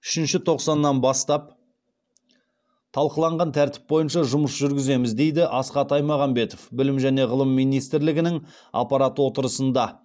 үшінші тоқсаннан бастап талқыланған тәртіп бойынша жұмыс жүргіземіз дейді асхат аймағамбетов білім және ғылым министрлігінің аппарат отырысында